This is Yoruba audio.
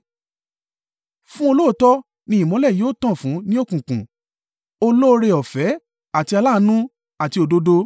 Fún olóòótọ́ ni ìmọ́lẹ̀ yóò tàn fún ní òkùnkùn: olóore-ọ̀fẹ́ àti aláàánú àti òdodo.